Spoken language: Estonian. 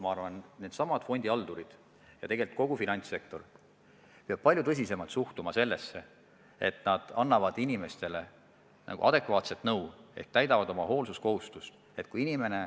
Ma arvan, et fondihaldurid ja tegelikult kogu finantssektor peab palju tõsisemalt suhtuma sellesse, et nad peavad inimestele andma adekvaatset nõu ehk täitma oma hoolsuskohustust.